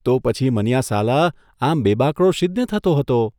તો પછી મનીયા સાલા, આમ બેબાકળો શીદને થતો હતો?